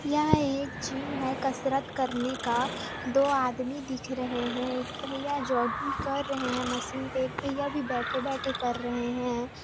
यह एक जिम है कसरत करने का दो आदमी दिख रहें हैं एक भैया जॉगिंग कर रहें हैं मशीन पे एक भैया भी बेठे-बेठे कर रहें हैं।